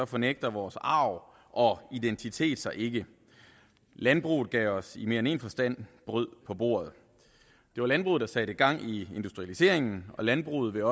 fornægter vores arv og identitet sig ikke landbruget gav os i mere end en forstand brød på bordet det var landbruget der satte gang i industrialiseringen og landbruget vil